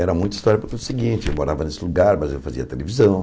Era muita história porque era o seguinte eu morava nesse lugar, mas eu fazia televisão.